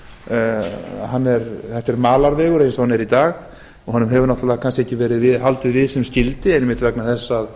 er malarvegur eins og hann er í dag og honum hefur náttúrlega kannski ekki verið haldið við sem skyldi einmitt vegna þess að